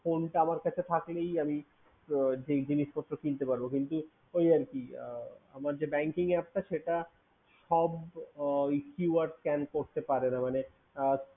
Phone টা আমার কাছে থাকলেই আমি যেই জিনিসপত্র কিনতে পারবো কিন্তু ঐ আরকি আমার যে Banking app টা সেটা সব keywords scan করতে পারে না